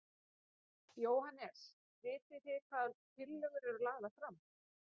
Jóhannes: Vitið hvaða tillögur eru lagðar fram?